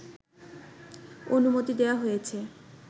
অনুমতি দেয়া হয়েছে